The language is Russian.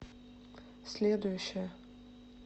следующая